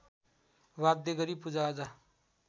वाध्य गरी पूजाआजा